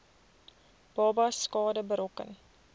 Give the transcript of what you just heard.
babas skade berokken